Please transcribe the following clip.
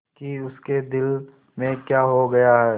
कि उसके दिल में क्या हो गया है